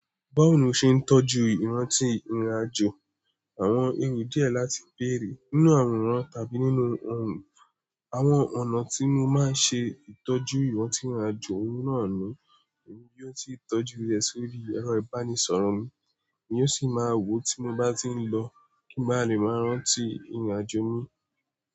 Báwo ni o ṣe ń tọ́jú ìrántí ìrìnàjò? Àwọn èrò díẹ̀ láti bèerè. Nínú àwòrán tàbí nínú ohùn. Àwọn ọ̀nà tí mo máa ń ṣe ìtọ́jú ìrántí ìrìnàjò ohun náà ni èmi yóò ti tọ́jú rẹ̀ sórí ẹ̀rọ ìbánisọ̀rọ̀ mi, èmi yóò sì máa wo tí mo bá ti ń lọ kí n bá lè máa rántí ìrìnàjò mi.